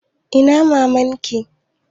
Ina maman ki?